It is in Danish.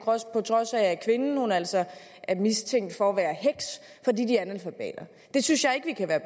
trods af at kvinden altså er mistænkt for at være heks det synes jeg ikke vi kan være